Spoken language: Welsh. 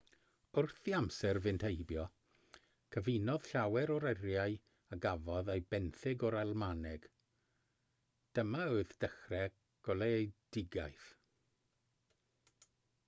wrth i amser fynd heibio cyfunodd llawer o eiriau a gafodd eu benthyg o'r almaeneg dyma oedd dechrau goleuedigaeth